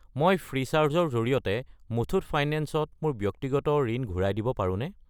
মই ফ্ৰীচাৰ্জ ৰ জৰিয়তে মুথুত ফাইনেন্স ত মোৰ ব্যক্তিগত ঋণ ঘূৰাই দিব পাৰোনে?